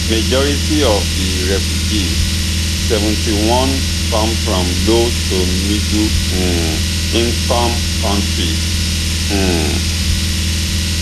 majority of di refugees seventy-one come from low to middle um income kontris um